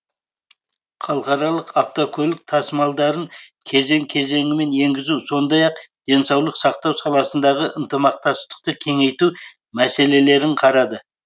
халықаралық автокөлік тасымалдарын кезең кезеңімен енгізу сондай ақ денсаулық сақтау саласындағы ынтымақтастықты кеңейту мәселелерін қарады